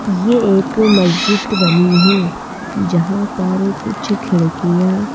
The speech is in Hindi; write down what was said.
ये एक मस्जिद बनी है जहाँ पर कुछ खिड़कियाँ --